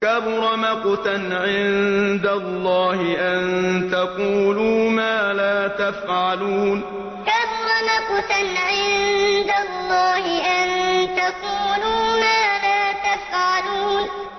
كَبُرَ مَقْتًا عِندَ اللَّهِ أَن تَقُولُوا مَا لَا تَفْعَلُونَ كَبُرَ مَقْتًا عِندَ اللَّهِ أَن تَقُولُوا مَا لَا تَفْعَلُونَ